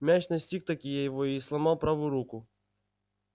мяч настиг-таки его и сломал правую руку